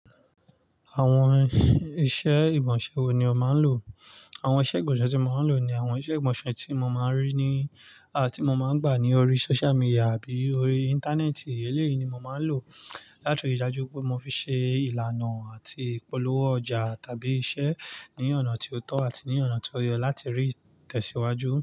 Àwọn iṣẹ́ ìgbọ́nṣè wo ni o máa ń lò? Àwọn iṣẹ́ ìmọ̀ọ́ṣè tí mo máa ń lò ni àwọn iṣẹ́ ìgbọ́nṣè tí mo máa ń rí ní à ti mo máa ń gbà ní orí social media àbí orí Íńtánẹ́ẹ̀tì. Eléyìí ni mo máa ń lò láti rí i dájú pé mo fi ṣe ìlànà àti ìpolówó ọjà tàbí iṣẹ́ ní ọ̀nà tí ó tọ́ àti ní ọ̀nà tí ó yẹ láti rí ìtẹ̀síwájú.